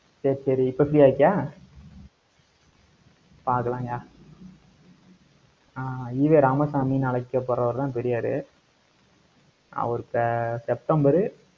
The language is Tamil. சரி சரி இப்ப free ஆ இருக்கியா? பாக்கலாங்கய்யா அஹ் ஈ. வே ராமசாமின்னு அழைக்கப்படுறவருதான் பெரியாரு. அவர் அஹ் செப்டம்பர்